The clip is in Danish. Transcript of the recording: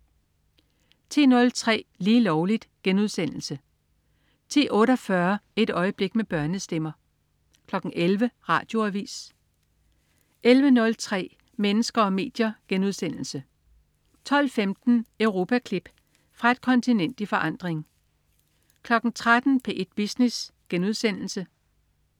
10.03 Lige Lovligt* 10.48 Et øjeblik med børnestemmer 11.00 Radioavis 11.03 Mennesker og medier* 12.15 Europaklip. Fra et kontinent i forandring 13.00 P1 Business*